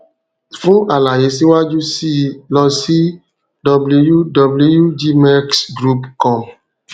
fún àlàyé síwájú sí i lọ sí wwwgmexgroupcom